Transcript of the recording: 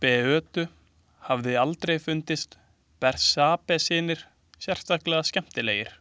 Beötu hafði aldrei fundist Bersabesynir sérstaklega skemmtilegir.